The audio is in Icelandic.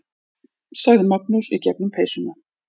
sagði Magnús í gegnum peysuna.